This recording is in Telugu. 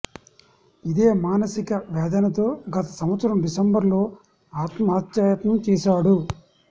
ఇదే మానసిక వేదనతో గత సంవత్సరం డిసెంబర్ లో ఆత్మహత్యాయత్నం చేశాడు